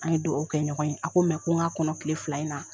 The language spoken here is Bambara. An ye duwawu kɛ ɲɔgɔn ye. A ko ko ŋ'a kɔnɔ kile fila in na.